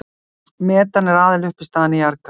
Metan er aðaluppistaðan í jarðgasi.